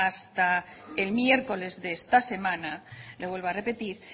hasta el miércoles de esta semana le vuelvo a repetir